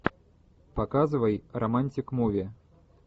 показывай романтик муви